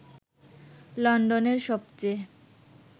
লন্ডনের সবচেয়ে